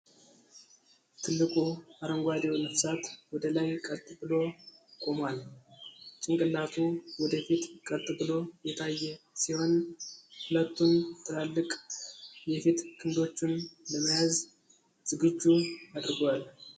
ትልቁ፣ አረንጓዴው ነፍሳት ወደ ላይ ቀጥ ብሎ ቆሟል። ጭንቅላቱ ወደ ፊት ቀጥ ብሎ የታየ ሲሆን፣ ሁለቱን ትላልቅ የፊት ክንዶቹን ለመያዝ ዝግጁ አድርጓል።